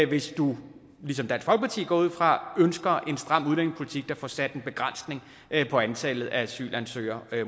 hvis man ligesom dansk folkeparti går jeg ud fra ønsker en stram udlændingepolitik der får sat en begrænsning på antallet af asylansøgere